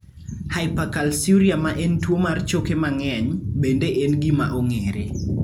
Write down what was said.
Hypercalciuria ma en tuwo mar choke mang'eny, bende en gima ong'ere.